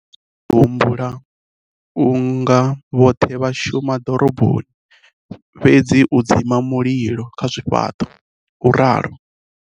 Ndo vha ndi tshi humbula u nga vhoṱhe vha shuma dziḓoroboni fhedzi u dzima mililo kha zwifhaṱo, u ralo.